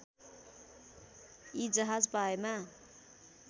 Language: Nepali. यी जहाज पाएमा